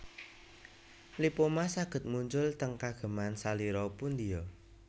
Lipoma saged muncul teng kageman salira pundia